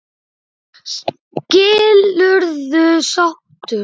Skilurðu sáttur?